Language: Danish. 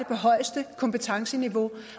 på højeste kompetenceniveau